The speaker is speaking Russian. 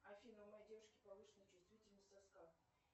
афина у моей девушки повышенная чувствительность соска